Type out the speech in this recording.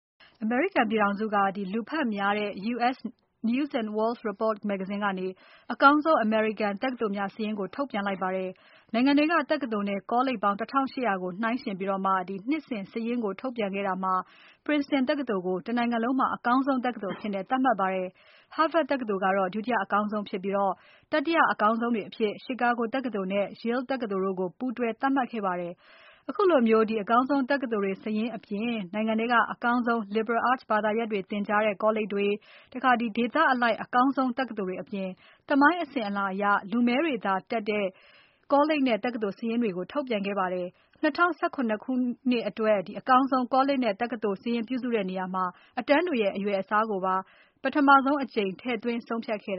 အမေရိကန်ပြည်ထောင်စုက လူဖတ်များတဲ့ U.S. News & World Report မဂ္ဂဇင်းက အကောင်းဆုံး အမေရိကန် တက္ကသိုလ်များစာရင်းကို ထုတ်ပြန်လိုက်ပါတယ်။ နိုင်ငံထဲက တက္ကသိုလ်နဲ့ ကောလိပ်ပေါင်း ၁၈၀၀ နှိုင်းယှဉ်ပြီး နှစ်စဉ်စာရင်းကို ထုတ်ပြန်ခဲ့တာမှာ Princeton တက္ကသိုလ်ကို တနိုင်ငံလုံးမှာ အကောင်းဆုံး တက္ကသိုလ်အဖြစ် သတ်မှတ်ခဲ့ပါတယ်။ Harvard တက္ကသိုလ်က ဒုတိယအကောင်းဆုံးဖြစ်ပြီး၊ တတိယ အကောင်းဆုံးတွေအဖြစ် Chicago တက္ကသိုလ်နဲ့ Yale တက္ကသိုလ်တို့ကို ပူးတွဲသတ်မှတ်ခဲ့ပါတယ်။ ခုလို အကောင်းဆုံး တက္ကသိုလ်တွေ စာရင်းအပြင် နိုင်ငံထဲက အကောင်းဆုံး Liberal Arts ဘာသာရပ်တွေ သင်ကြားတဲ့ ကောလိပ်တွေ၊ ဒေသအလိုက် အကောင်းဆုံး တက္ကသိုလ်တွေအပြင် သမိုင်းအစဉ်အလာအရ လူမည်းတွေသာတက်တဲ့ ကောလိပ်နဲ့ တက္ကသိုလ်စာရင်းတွေကိုလည်း ထုတ်ပြန်ခဲ့ပါတယ်။ ၂၀၁၇ ခုနှစ်အတွက် အကောင်းဆုံး ကောလိပ် တက္ကသိုလ်စာရင်းပြုစုတဲ့နေရာမှာ အတန်းတွေရဲ့ အရွယ်အစားကိုပါ ပထမဆုံးအကြိမ် ထည့်သွင်းဆုံးဖြတ်ခဲ့